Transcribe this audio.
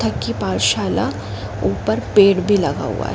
ताकि पाठशाला ऊपर पेड़ भी लगा हुआ है।